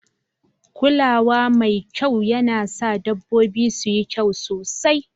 Kula wa mai kyau yana sa dabbobi su yi kyau sosai